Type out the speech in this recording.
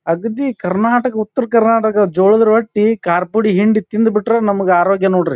ಅಗದಿ ಕರ್ನಾಟಕ ಉತ್ತರ ಕರ್ನಾಟಕದ್ ಜೋಳದ ರೊಟ್ಟಿ ಕಾರದ ಪುಡಿ ಹಿಂಡಿ ತಿಂದ್ ಬಿಟ್ರೆ ನಮಗೆ ಅರೋಗ್ಯ ನೋಡ್ರಿ.